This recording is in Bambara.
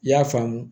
I y'a faamu